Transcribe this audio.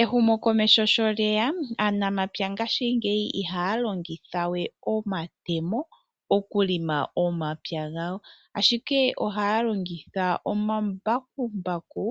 Ehumo komeho sho lyeya aanamapya ngashingeyi ihaya longitha we omatemo okulima omapya gawo ashike ohaya longitha omambakumbaku